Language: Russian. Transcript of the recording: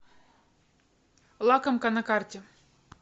лакомка на карте